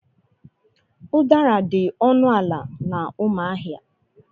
Udara dị ọnụ ala na Umuahia.